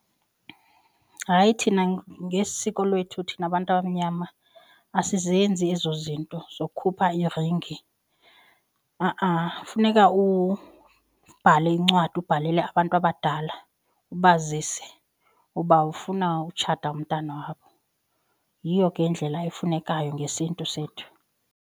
Hayi thina ngesiko lwethu thina bantu abamnyama asizenzi ezo zinto zokukhupha iringi. Ha-a funeka ubhale incwadi ubhalele abantu abadala ubazise uba ufuna utshata umntana wabo. Yiyo ke indlela efunekayo ngesiNtu sethu.